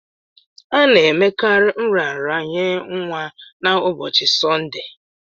A na-emekarị nraranye nwa na ụbọchi Sọnde